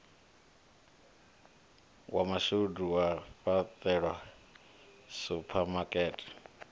wa mashudu wa fhaṱelwa suphamakete